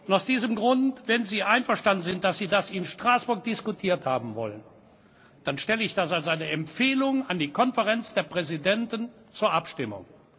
Aus diesem Grund wenn Sie einverstanden sind, dass Sie das in Straßburg diskutiert haben wollen stelle ich das als eine Empfehlung an die Konferenz der Präsidenten zur Abstimmung.